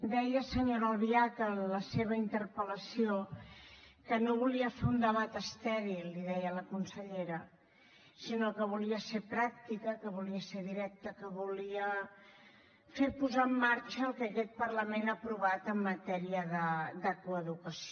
deia senyora albiach en la seva interpel·lació que no volia fer un debat estèril l’hi deia a la consellera sinó que volia ser pràctica que volia ser directa que volia fer posar en marxa el que aquest parlament ha aprovat en matèria de coeducació